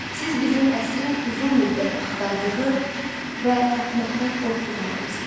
Siz bizim əsrin uzun müddət axtardığı və tapmaqdan qorxduğu adamsınız.